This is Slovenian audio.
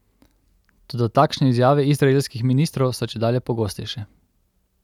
Toda takšne izjave izraelskih ministrov so čedalje pogostejše.